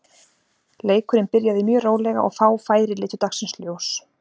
Leikurinn byrjaði mjög rólega og fá færi litu dagsins ljós.